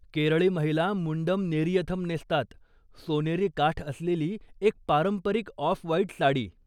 केरळी महिला मुंडम नेरियथम नेसतात, सोनेरी काठ असलेली एक पारंपरिक ऑफ व्हाइट साडी.